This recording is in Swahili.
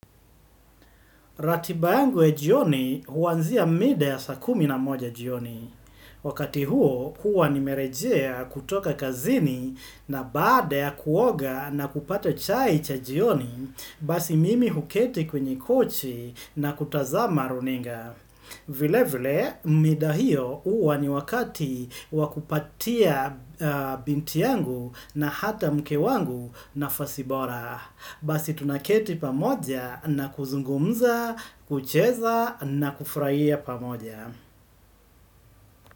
Ratibayangu ya jioni huwanzia mide ya sakumi na moja jioni. Wakati huo, huwa ni merejea kutoka kazini na baada ya kuoga na kupata chai cha jioni, basi mimi huketi kwenye kochi na kutazama runinga. Vile vile, mida hiyo huwa ni wakati wakupatia binti yangu na hata mkewangu na fasibora. Basi tunaketi pamoja na kuzungumza, kucheza na kufraia pamoja.